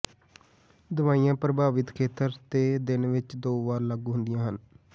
ਦਵਾਈਆਂ ਪ੍ਰਭਾਵਿਤ ਖੇਤਰ ਤੇ ਦਿਨ ਵਿੱਚ ਦੋ ਵਾਰ ਲਾਗੂ ਹੁੰਦੀਆਂ ਹਨ